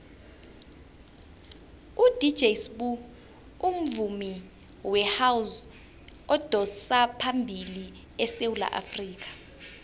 udj sbu ungumvumi wehouse odosaphambili esewula afrikha